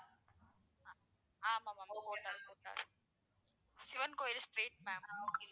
ஆஹ் ஆமா ma'am கோட்டார், கோட்டார். சிவன் கோவில் street ma'am.